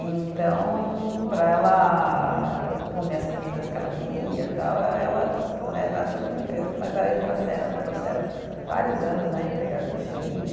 Então, para ela comer as comidas que ela queria, tal, aí ela né, era toda uma, mas aí trouxeram, trouxeram vários anos né, empregado do Chile.